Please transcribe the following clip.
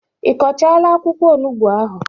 Ị kọchaala akwụkwọ onugbu ahụ?